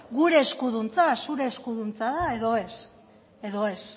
gure eskuduntza zure eskuduntza da edo ez